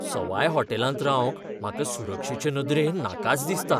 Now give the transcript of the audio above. सवाय हॉटॅलांत रावंक म्हाका सुरक्षेचे नदरेन नाकाच दिसता.